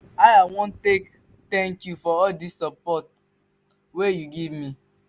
how i wan take thank you for all dis support you dey give me?